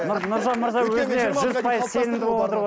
нұржан мырза өзіне жүз пайыз сенімді болып отыр ғой